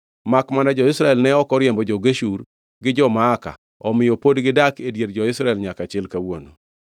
Makmana jo-Israel ne ok oriembo jo-Geshur gi jo-Maaka, omiyo pod gidak e dier jo-Israel nyaka chil kawuono.